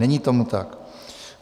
Není tomu tak.